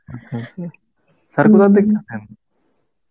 আচ্ছা আচ্ছা circular দেখতেছেন?